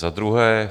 Za druhé.